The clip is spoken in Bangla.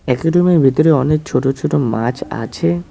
একুরিয়ামের ভেতরে অনেক ছোট ছোট মাছ আছে।